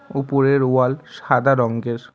উপরের ওয়াল সাদা রংগের ।